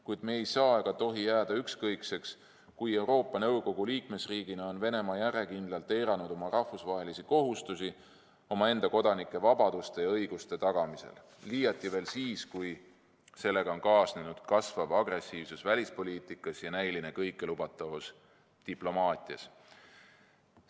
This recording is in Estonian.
Kuid me ei saa ega tohi jääda ükskõikseks, kui Euroopa Nõukogu liikmesriigina on Venemaa järjekindlalt eiranud rahvusvahelisi kohustusi omaenda kodanike vabaduste ja õiguste tagamisel, liiati veel siis, kui sellega on kaasnenud kasvav agressiivsus välispoliitikas ja näiline kõikelubatavus diplomaatias.